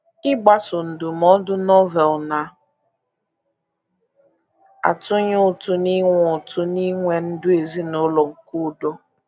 Ịgbaso ndụmọdụ Novel na - atụnye ụtụ n’inwe ụtụ n’inwe ndụ ezinụlọ nke udo